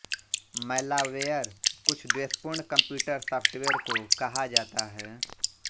malware कुछ द्वेषपूर्ण computer software को कहा जाता है